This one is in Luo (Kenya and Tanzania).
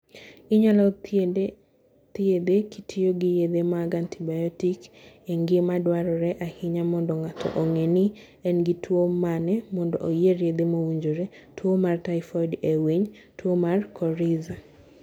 Inyalo thiedhe kitiyo gi yedhe mag antibiotic, en gima dwarore ahinya mondo ng'ato ong'e ni en gi tuwo mane mondo oyier yedhe mowinjore e.g. tuo mar typhoid e winy, tuo mar coryza.